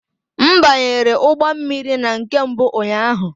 M banyere ụgbọ mmiri na nke mbụ ụnyaahụ